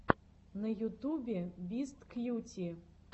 на ютубе бисткьюти